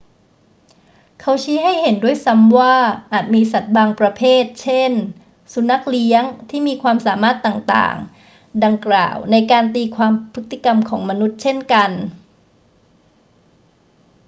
เขาชี้ให้เห็นด้วยซ้ำว่าอาจมีสัตว์บางประเภท เช่น สุนัขเลี้ยง ที่มีความสามารถต่าง ๆ ดังกล่าวในการตีความพฤติกรรมของมนุษย์เช่นกัน